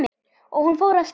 Og hún fór af stað.